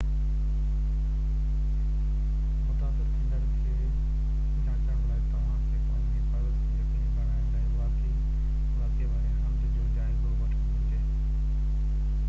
متاثر ٿيندڙ کي جانچڻ لاءِ توهان کي پنهنجي حفاظت کي يقيني بڻائڻ لاءِ واقعي واري هنڌ جو جائزو وٺڻ گهرجي